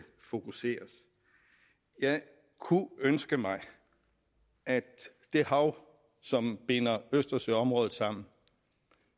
fokuseres jeg kunne ønske mig at det hav som binder østersøområdet sammen